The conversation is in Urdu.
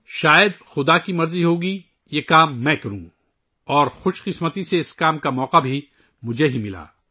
شاید بھگوان کی مرضی ہوگی کہ یہ کام میں کروں اور اس کام کو کرنے کا موقع بھی مجھے ہی ملا